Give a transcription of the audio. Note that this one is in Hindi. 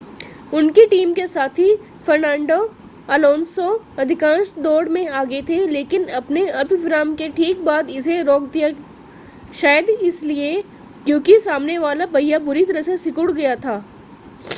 उनकी टीम के साथी फ़र्नांडो अलोंसो अधिकांश दौड़ में आगे थे लेकिन अपने अल्प-विराम के ठीक बाद इसे रोक दिया शायद इसलिए क्योंकि सामने वाला पहिया बुरी तरह से सिकुड़ गया था